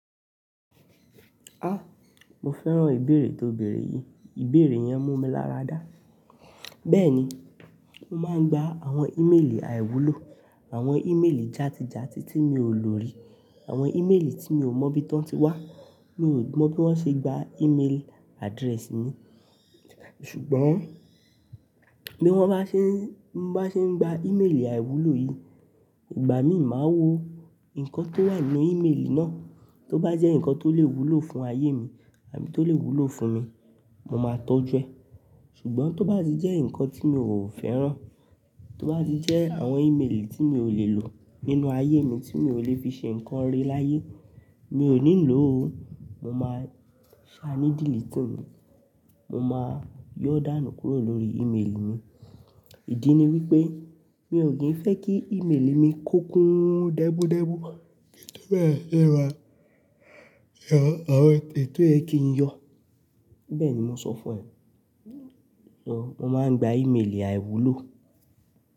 Ah! Mo fẹ́ràn ìbéèrè tó bèèrè yìí. Ìbéèrè yẹn mú mi lára dá. Bẹ́ẹ̀ ni, máa ń gba àwọn ìméèlì àìwúlò, àwọn ìméèlì játi játi tí mi ò lò rí, àwọn ìméèlì tí mi ò mọ bí tón tí wá. Mi ò mọ bí wọ́n ṣe gba ìméèl address mi. Ṣùgbọ́n bí wọ́n bá ṣe ń, bá ṣe ń gba ìméèlì àìwúlò yìí, ìgbà mi ì máa wo nǹkan tó wà nínú ìméèlì náà. Tó bá jẹ́ nǹkan tó lè wúlò fún ayé mi àbí tó lè wúlò fún mi, mo máa tọ́jú ẹ. Ṣùgbọ́n tó bá ti jẹ́ nǹkan tí mi ò fẹ́ràn, tó bá ti jẹ́ àwọn ìméèlì tí mi ò lè lò nínú ayé mi, tí mi ò lè fi ṣe nǹkan ire láyé, mi ò ní lò ó. Mo máa ṣá ní deleting ni, mo máa yọ́ dànù kúrò lórí ìméèlì mi. Ìdí ni wípé mi ò kí ń fẹ́ kí ìméèlì mi kó kun dẹ́mú dẹ́mú kí n tó bẹ̀rẹ̀ sí ní ma–àwọn è tò yẹ kí n yọ. Bẹ́ẹ̀ ni mo sọ fún ẹ. Mo máa ń gba ìméèlì àìwúlò.